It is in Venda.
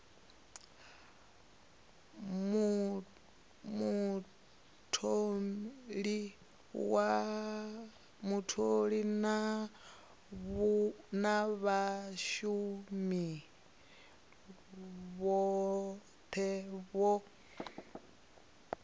mutholi na vhashumi vhothe vho